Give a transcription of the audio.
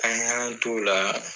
An y'an t'o la.